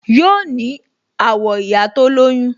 Yoo ní àwọ̀ ìyá tó lóyún